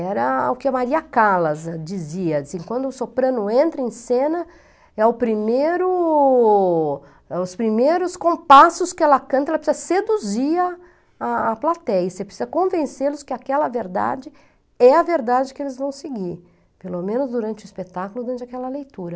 Era o que a Maria Callas dizia, assim, quando o soprano entra em cena, é o primeiro, é os primeiros compassos que ela canta, ela precisa seduzir a a a plateia, você precisa convencê-los que aquela verdade é a verdade que eles vão seguir, pelo menos durante o espetáculo, durante aquela leitura.